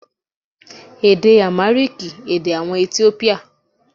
Èdè Àmáríkìì, èdè àwọn Etiópíà.